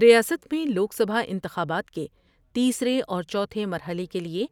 ریاست میں لوک سبھا انتخابات کے تیسرے اور چوتھے مرحلے کے لئے